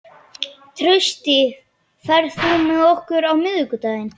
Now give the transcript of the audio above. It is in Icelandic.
Trausti, ferð þú með okkur á miðvikudaginn?